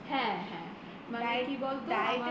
হ্যা হ্যা মানে কি বলত